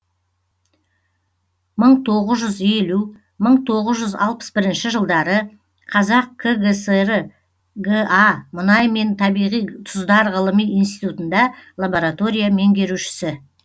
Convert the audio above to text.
мың тоғыз жүз елу мың тоғыз жүз алпыс бірінші жылдары қазақ кср га мұнай мен табиғи тұздар ғылыми институтында лаборатория меңгерушісі